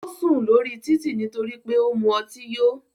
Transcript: Ó sùn lórí títì nítorí pé ó mu ọtí yó.